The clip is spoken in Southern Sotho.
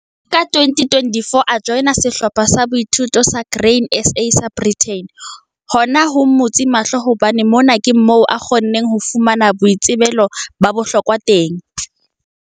Ka 2014 a joina sehlopha sa boithuto sa Grain SA sa Breyten. Hona ho mmutse mahlo hobane mona ke moo a kgonneng ho fumana boitsebelo ba bohlokwa teng.